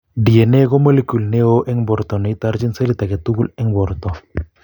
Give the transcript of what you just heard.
Dna ko molecule neoo eng' borto neitorchin selit age tugul eng' borto